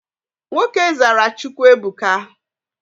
Nwoke zara Chukwuebuka.